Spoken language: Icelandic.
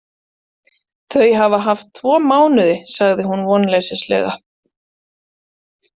Þau hafa haft tvo mánuði, sagði hún vonleysislega.